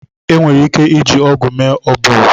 Enwere ike iji ọgụ mee oburu.